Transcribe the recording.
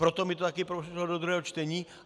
Proto mi to také prošlo do druhého čtení.